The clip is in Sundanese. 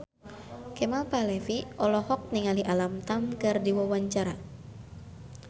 Kemal Palevi olohok ningali Alam Tam keur diwawancara